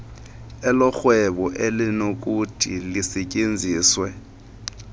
elorhwebo elinokuthi lisetyenziswe